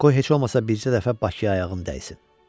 "Qoy heç olmasa bircə dəfə Bakıya ayağın dəysin."